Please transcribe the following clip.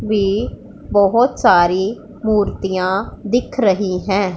भी बहोत सारी मूर्तियां दिख रही है।